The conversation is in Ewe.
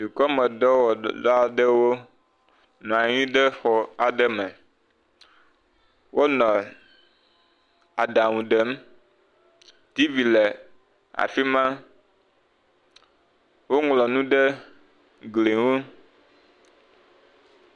Dukɔmedɔwɔla aɖewo nɔ anyi ɖe xɔ aɖe me, wole aɖaŋu ɖem t.v le afi ma woŋlɔ nu ɖe gli ŋu.